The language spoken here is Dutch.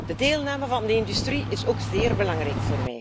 De deelname van de industrie is ook zeer belangrijk.